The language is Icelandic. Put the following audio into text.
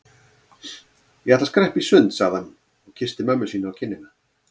Ég ætla að skreppa í sund sagði hann og kyssti mömmu sína á kinnina.